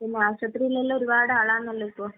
ഉം ആശുപത്രിയിലെല്ലാം ഒരുപാട് ആളാണല്ലോ ഇപ്പൊ.